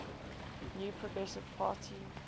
new progressive party